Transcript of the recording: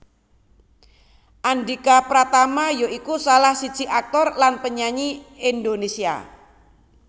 Andhika Pratama ya iku salah siji aktor lan penyanyi Indonésia